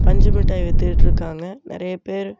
பஞ்சு மிட்டாய் வித்துட்டுருக்காங்க நறைய பேரு.